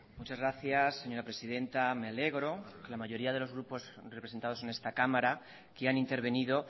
muchas gracias señora presidenta me alegro que la mayoría de los grupos representados en esta cámara que han intervenido